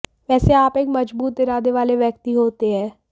वैसे आप एक मजबूत इरादे वाले व्यक्ति होते हैं